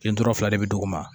Ki dɔrɔn fila de bɛ dugu ma